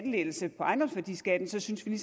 lettelse på ejendomsværdiskatten så synes vi